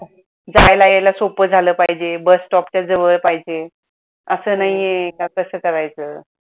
जायला यायला सोप्प झाल पाहिजे bus stop च्या जवळ पाहिजे अस नाही आहे का कस करायचं